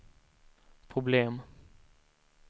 problem